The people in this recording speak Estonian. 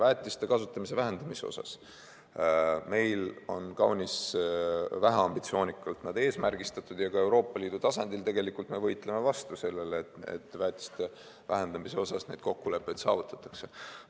Väetiste kasutamise vähendamine on meil kaunis väheambitsioonikalt eesmärgistatud, ja ka Euroopa Liidu tasandil tegelikult me võitleme vastu sellele, et väetiste vähendamise kohta neid kokkuleppeid saavutatakse.